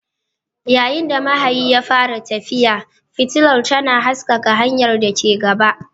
Yayin da mahayin ya fara tafiya, fitilar tana haskaka hanyar da ke gaba.